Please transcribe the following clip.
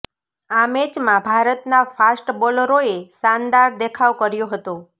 આ મેચમાં ભારતના ફાસ્ટ બોલરોએ શાનદાર દેખાવ કર્યો હતો